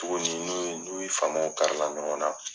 Tuguni n'u ye n'u faamaw kari la ɲɔgɔn na.